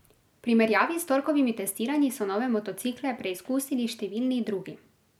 V primerjavi s torkovimi testiranji so nove motocikle preizkusili številni drugi.